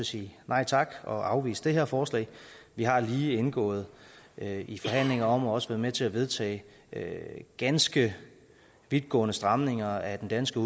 sige nej tak og afvise det her forslag vi har lige indgået i forhandlinger om og også været med til at vedtage ganske vidtgående stramninger af den danske